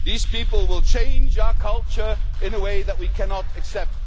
These people will change our culture in a way that we cannot accept.'